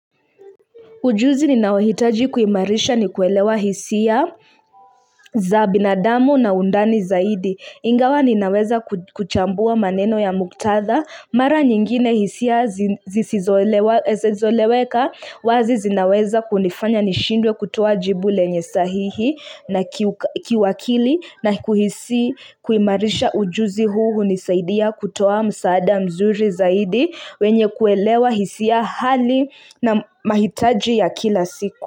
Ujuzi ninaohitaji kuimarisha ni kuelewa hisia za binadamu na undani zaidi. Ingawa ninaweza kuchambua maneno ya muktadha. Mara nyingine hisia zisizoeleweka wazi zinaweza kunifanya nishindwe kutoa jibu lenye sahihi na kiuakili. Na kuhisi kuimarisha ujuzi huu hunisaidia kutoa msaada mzuri zaidi wenye kuelewa hisia, hali na mahitaji ya kila siku.